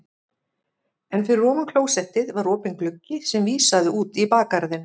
En fyrir ofan klósettið var opinn gluggi sem vísaði út í bakgarðinn.